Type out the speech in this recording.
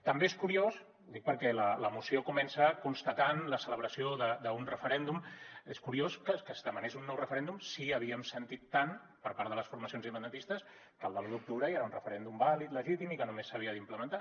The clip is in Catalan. també és curiós ho dic perquè la moció comença constatant la celebració d’un referèndum que es demanés un nou referèndum si havíem sentit tant per part de les formacions independentistes que el de l’u d’octubre ja era un referèndum vàlid legítim i que només s’havia d’implementar